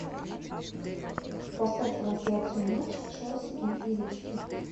поставь трансляцию матча челси и ириски